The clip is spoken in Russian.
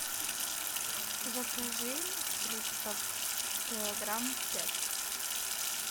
закажи фруктов килограмм пять